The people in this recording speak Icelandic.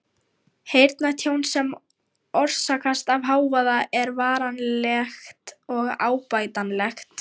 Heyrnartjón sem orsakast af hávaða er varanlegt og óbætanlegt.